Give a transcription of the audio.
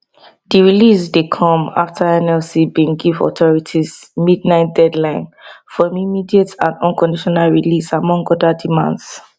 di release dey come afta nlc bin give authorities midnight deadline for im immediate and unconditional release among oda demands